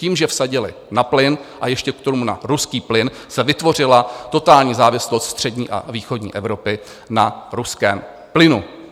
Tím, že vsadili na plyn, a ještě k tomu na ruský plyn, se vytvořila totální závislost střední a východní Evropy na ruském plynu.